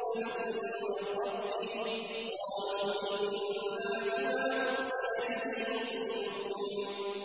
مُّرْسَلٌ مِّن رَّبِّهِ ۚ قَالُوا إِنَّا بِمَا أُرْسِلَ بِهِ مُؤْمِنُونَ